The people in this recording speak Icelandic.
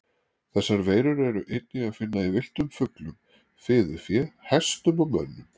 Þessar veirur er einnig að finna í villtum fuglum, fiðurfé, hestum og mönnum.